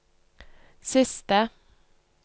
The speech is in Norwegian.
siste